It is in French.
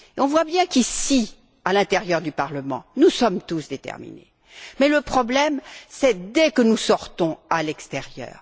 Nous voyons bien qu'ici, à l'intérieur du Parlement, nous sommes tous déterminés, mais le problème se pose dès que nous sortons à l'extérieur.